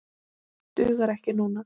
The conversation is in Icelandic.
Dugar ekki núna.